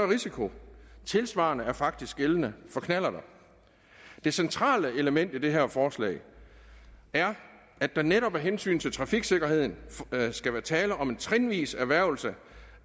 risiko tilsvarende er faktisk gældende for knallert det centrale element i det her forslag er at der netop af hensyn til trafiksikkerheden skal være tale om en trinvis erhvervelse